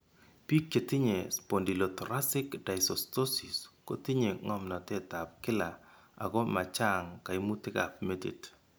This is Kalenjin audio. Bik chetinye Spondylothoracic dysostosis ko tinye ng'omnotetab kila ako ma chang' kaimutikab metit.